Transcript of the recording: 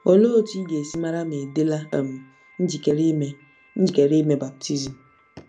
Olee otú ị ga-esi mara ma ị dịla um njikere ime njikere ime baptizim?